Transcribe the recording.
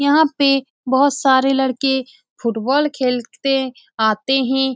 यहाँ पे बहुत सारे लड़के फुटबॉल खेलते आते है ।